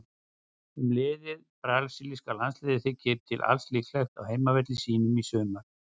Um liðið: Brasilíska landsliðið þykir til alls líklegt á heimavelli sínum í sumar.